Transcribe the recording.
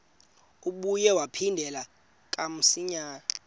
ibuye yaphindela kamsinya